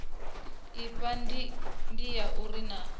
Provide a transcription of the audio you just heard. afha ndi ya uri naa